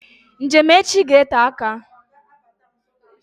Njem echi ga-ete aka